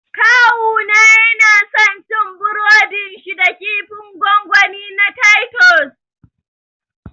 Kawuna yana son cin burodin shi da kifin gongoni na Titus